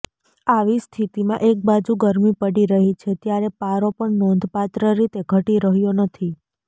આવી સ્થિતિમાં એકબાજુ ગરમી પડી રહી છે ત્યારે પારો પણ નોંધપાત્ર રીતે ઘટી રહ્યો નથી